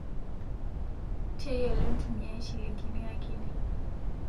Teyiolo ntumiai shilingini akini